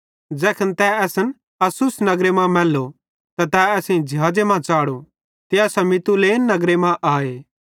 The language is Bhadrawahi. ज़ैखन तै असन अस्सुस नगरे मां मैल्लो त तै असेईं ज़िहाज़े मां च़ाढ़ो ते असां मितुलेन नगरे मां आए